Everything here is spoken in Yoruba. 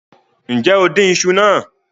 Nje o din iṣu naa